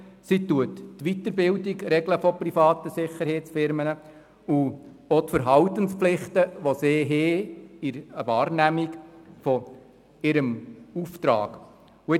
Sie regelt zudem die Weiterbildung der Mitarbeitenden und die Verhaltensvorschriften, die für die Wahrnehmung dieses Auftrags gelten.